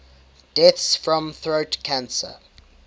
deaths from throat cancer